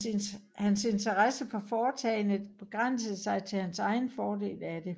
Hans interesse for foretagendet begrænsede sig til hans egen fordel af det